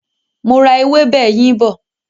Mo ra ewébè yín bọ̀.